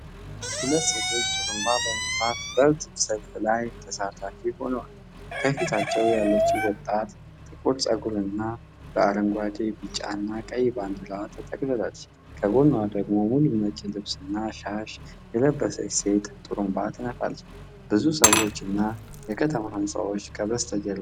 ሁለት ሴቶች ጥሩምባ በመንፋት በሕዝብ ሰልፍ ላይ ተሳታፊ ሆነዋል። ከፊታቸው ያለችው ወጣት ጥቁር ፀጉርና በአረንጓዴ፣ ቢጫና ቀይ ባንዲራ ተጠቅልላለች። ከጎኗ ደግሞ ሙሉ ነጭ ልብስና ሻሽ የለበሰች ሴት ጥሩምባ ትነፋለች። ብዙ ሰዎችና የከተማ ሕንፃዎች ከበስተጀርባ ይታያሉ።